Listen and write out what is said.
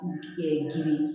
giri